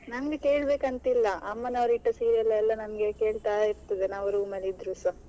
ನನ್ಗೆ ಕೇಳ್ಬೇಕಂತ ಇಲ್ಲ ಅಮ್ಮನವ್ರು ಇಟ್ಟ serials ಎಲ್ಲ ನನ್ಗೆ ಕೇಳ್ತಾ ಇರ್ತದೆ ನಾವು room ಅಲ್ಲಿ ಇದ್ರುಸ.